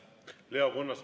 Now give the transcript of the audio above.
Leo Kunnas.